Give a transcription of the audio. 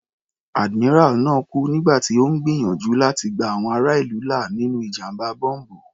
Admiral náà kú nígbà tí Ó ń gbìyànjú láti gba àwọn ará ìlú là nínú ìjàmbá bọ́m̀bù.